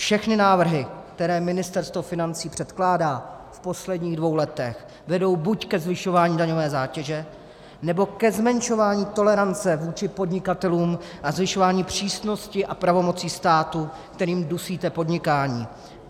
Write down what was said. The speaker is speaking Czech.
Všechny návrhy, které Ministerstvo financí předkládá v posledních dvou letech, vedou buď ke zvyšování daňové zátěže, nebo ke zmenšování tolerance vůči podnikatelům a zvyšování přísnosti a pravomocí státu, kterými dusíte podnikání.